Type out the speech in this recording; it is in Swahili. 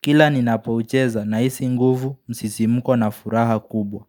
Kila ninapoucheza, nahisi nguvu msisimko na furaha kubwa.